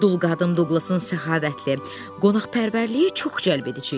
Dul qadın Duqlasın səxavətli, qonaqpərvərliyi çox cəlb edici idi.